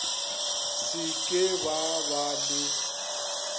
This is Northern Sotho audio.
se ke ba ba le